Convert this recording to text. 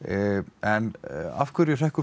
en af hverju hrekkur